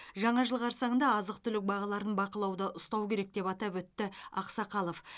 жаңа жыл қарсаңында азық түлік бағаларын бақылауда ұстау керек деп атап өтті ақсақалов